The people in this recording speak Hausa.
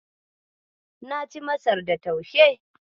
Na ci Masar da taushe.